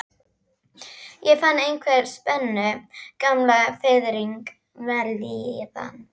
Ég fann einhverja spennu, gamla fiðringinn, vellíðan.